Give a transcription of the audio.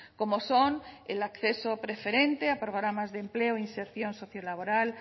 como son el acceso preferente a programas de empleo inserción socio laboral